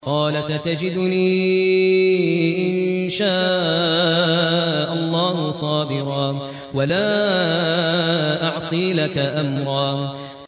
قَالَ سَتَجِدُنِي إِن شَاءَ اللَّهُ صَابِرًا وَلَا أَعْصِي لَكَ أَمْرًا